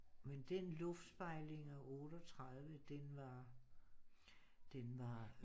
Men den luftspejlinger 38 den var den var